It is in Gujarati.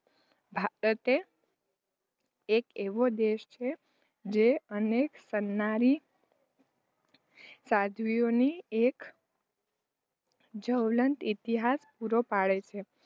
ભારત એ એક એવો દેશ છે, જે અનેક સનનારી સાધવીઓની એક જ્વલંત ઈતિહાસ પૂરી પાડે છે.